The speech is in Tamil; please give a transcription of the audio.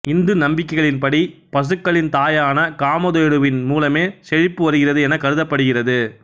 இந்து நம்பிக்கைகளின் படி பசுக்களின் தாயான காமதேனுவின் மூலமே செழிப்பு வருகிறது எனக் கருதப்படுகிறது